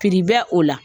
Pipbɛr o la